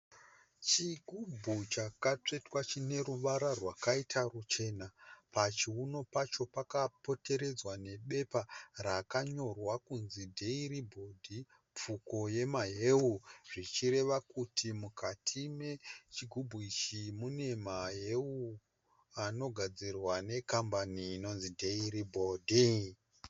Chigubhu chakatsvetwa chine ruvara rwakaita ruchena. Pachiunu Pacho pakapoteredzwa ne bepa rakanyorwa kunzi , Dairiboard Pfuko yemahewu. Zvichireva kuti mukati mechigubhu ichi mune mahewu anogadzirwa ne kambani inonzi Dairiboard.